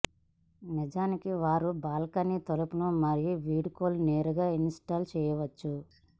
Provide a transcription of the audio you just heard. నిజానికి వారు బాల్కనీ తలుపు మరియు విండోలో నేరుగా ఇన్స్టాల్ చేయవచ్చు